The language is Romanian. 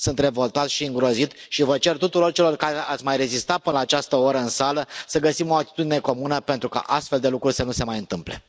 Sunt revoltat și îngrozit și vă cer tuturor celor care ați mai rezistat până la această oră în sală să găsim o atitudine comună pentru ca astfel de lucruri să nu se mai întâmple.